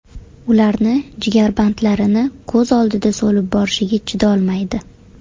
Ularni jigarbandlarini ko‘z oldida so‘lib borishiga chidolmaydi.